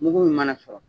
Mugu min mana sɔrɔ